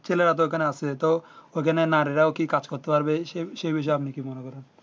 ছেলেরা তো ও খানে আছে তো ও খানে নারীরাও কি কাজ করতে পারবে সেই সেই বিষয়ে আপনি কি মনে করেন